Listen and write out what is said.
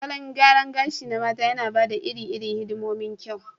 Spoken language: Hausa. Salon gyaran gashi na mata yana ba da iri-irin hidimomin kyau.